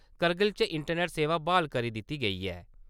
करगिल च इंटरनेट सेवा ब्हाल करी दित्ती गेई ऐ।